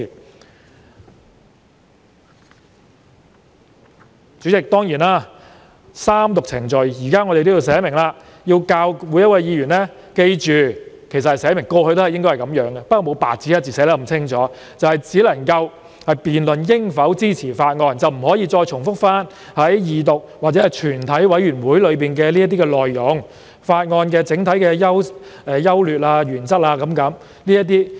代理主席，就三讀程序，我們現在列明每位議員——過去其實亦應如此，只是沒有白紙黑字清楚列明而已——只可辯論應否支持法案，不可以重複二讀或全體委員會審議階段時的辯論內容、法案的整體優劣及原則。